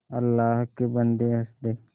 अल्लाह के बन्दे हंस दे